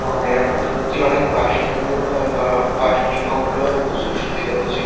আ এরকম সত্যিই অনেক বাস স্ট্যান্ড গুলো হওয়ায় বা বাস ডিপো গুলো হয়ে প্রচুর সুবিধা হয়েছে।